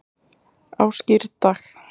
á skírdag